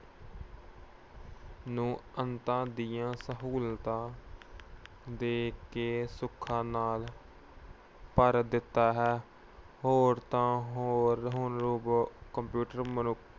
ਨੂੰ ਅੰਤਾਂ ਦੀਆਂ ਸਹੂਲਤਾਂ ਦੇ ਕੇ ਸੁੱਖਾਂ ਨਾਲ ਭਰ ਦਿੱਤਾ ਹੈ। ਹੋਰ ਤਾਂ ਹੋਰ ਹੁਣ robot computer ਮਨੁੱਖ